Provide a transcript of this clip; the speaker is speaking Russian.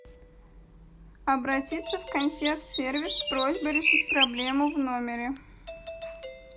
обратиться в консьерж сервис с просьбой решить проблему в номере